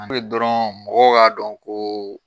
An be dɔrɔn mɔgɔw k'a dɔn koo